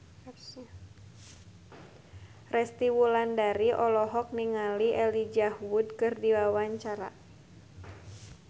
Resty Wulandari olohok ningali Elijah Wood keur diwawancara